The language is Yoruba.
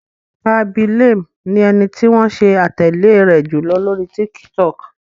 Khaby Lame ni ẹni tí wọ́n ṣe atẹle rẹ̀ jùlọ lóri TikTok.